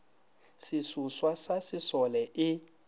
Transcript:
se seswa sa sesole e